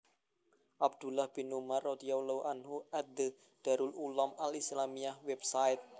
Abdullah bin Umar radhiyallahu anhu at The Darul Uloom Al Islamiyya Website